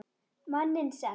Manninn sem.